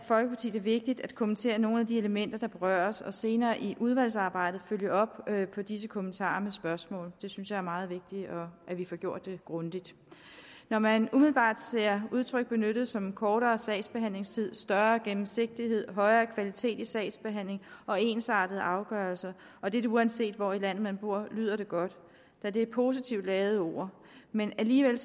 det vigtigt at kommentere nogle af de elementer der berøres og senere i udvalgsarbejdet følge op på disse kommentarer med spørgsmål jeg synes det er meget vigtigt at vi får gjort det grundigt når man umiddelbart ser udtryk benyttet som kortere sagsbehandlingstid større gennemsigtighed højere kvalitet i sagsbehandlingen og ensartede afgørelser og dette uanset hvor i landet man bor lyder det godt da det er positivt ladede ord men alligevel